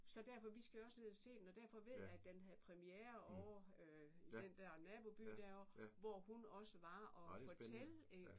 Så derfor vi skal jo også ned at se den og derfor ved jeg den havde præmiere ovre i den der naboby derovre hvor hun også var og fortælle iggå